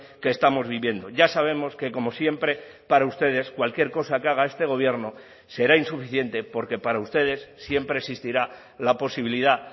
que estamos viviendo ya sabemos que como siempre para ustedes cualquier cosa que haga este gobierno será insuficiente porque para ustedes siempre existirá la posibilidad